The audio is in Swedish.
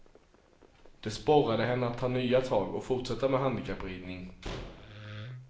Det sporrade henne att ta nya tag och fortsätta med handikappridning.